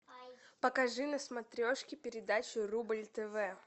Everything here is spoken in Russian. покажи на смотрешке передачу рубль тв